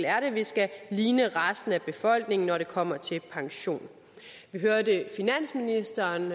er at vi skal ligne resten af befolkningen når det kommer til pension vi hørte finansministeren